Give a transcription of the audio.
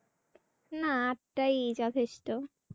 না আটটায় যথেষ্ট ।